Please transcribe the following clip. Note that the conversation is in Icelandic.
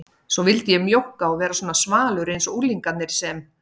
Svo vildi ég mjókka og vera svona svalur einsog unglingarnir sem